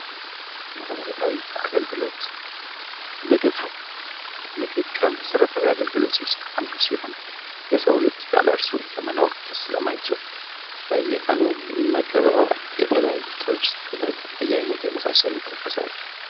መሰረታዊ አገልግሎት ምግብ ከመሰረታዊ አገልግሎት ውስጥ አንዱ ሲሆን የሰው ልጅ ያለሱ ለመኖር ስለማይችል በየቀኑ ይመገበዎል። የተለያዩ ጥብስ ፣ዱለት በየአይነት የመሳሰሉ ይጠቀሳሉ።